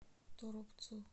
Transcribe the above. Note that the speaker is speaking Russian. торопцу